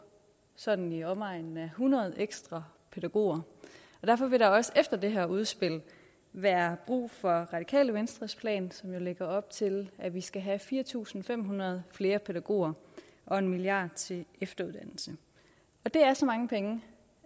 sådan i omegnen af hundrede ekstra pædagoger derfor vil der også efter det her udspil være brug for radikale venstres plan som jo lægger op til at vi skal have fire tusind fem hundrede flere pædagoger og en milliard kroner til efteruddannelse det er så mange penge